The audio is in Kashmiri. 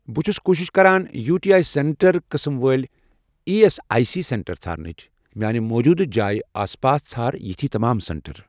بہٕ چھُس کوٗشِش کران یوٗ ٹی آی سینٹر قٕسم وٲلۍ E S I C center ژھارنٕچ، میانہِ موٗجوٗدٕ جایہِ آس پاس ژھار یِتھۍ تمام سینٹر۔